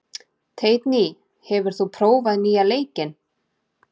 Teitný, hefur þú prófað nýja leikinn?